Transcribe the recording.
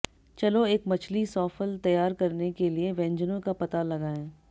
चलो एक मछली सॉफल तैयार करने के लिए व्यंजनों का पता लगाएं